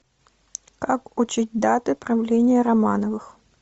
как учить даты правления романовых